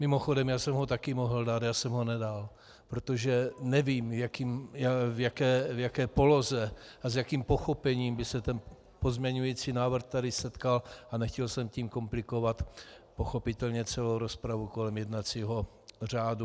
Mimochodem, já jsem ho také mohl dát, já jsem ho nedal, protože nevím, v jaké poloze a s jakým pochopením by se ten pozměňující návrh tady setkal, a nechtěl jsem tím komplikovat pochopitelně celou rozpravu kolem jednacího řádu.